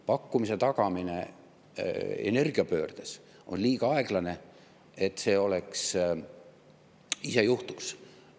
Pakkumise tagamine energiapöördes on liiga aeglane, et see ise juhtuks.